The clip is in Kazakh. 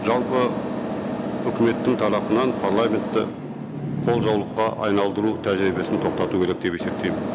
жалпы үкіметтің тарапынан парламентті қолжаулыққа айналдыру тәжірибесін тоқтату керек деп есептеймін